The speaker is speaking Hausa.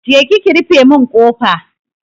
Je ki ki rufe mun kofa!